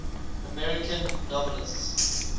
american novelists